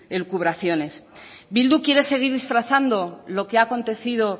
el cubreacciones bildu quiere seguir disfrazando lo que ha acontecido